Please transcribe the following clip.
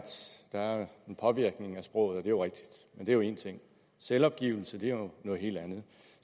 der er en påvirkning af sproget og det er jo rigtigt men det er jo én ting selvopgivelse er jo noget helt andet